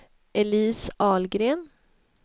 Elise Ahlgren